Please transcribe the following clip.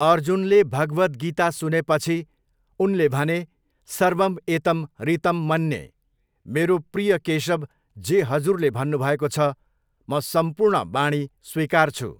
अर्जुनले भगवद गीता सुनेपछी उनले भने सर्वम् एतम् ऋतं मन्ये, मेरो प्रिय केशव जे हजुरले भन्नुभएको छ म सम्पूर्ण वाणी स्वीकार्छु।